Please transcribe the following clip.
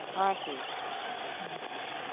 ହଁ, ଠିକ୍ ଅଛେ ହଁ।